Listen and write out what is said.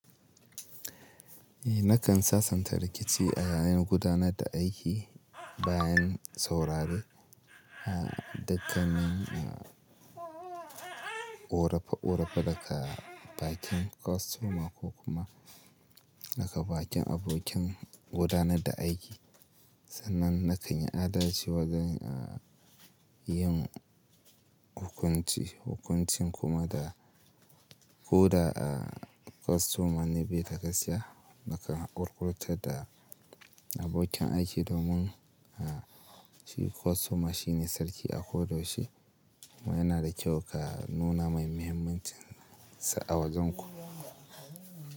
Eh nakan sasanta rikici a yayin gudanar da aiki bayan saurare dukkanin korefa-korefa daga bakin kostoma ko kuma daga bakin abokin gudanar da aiki. Sannan na kan yi adalci wajen a yin hukunci, hukuncin kuma da ko da a kostoma ne bai ga kashiya, nakan ƙurƙuta da abokin aiki domin a shi kostoma shi ne sarki a ko da yaushe kuma yana da kyau ka nuna mai muhimmancinsa a wajenku.